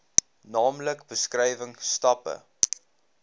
naamlik beskrywing stappe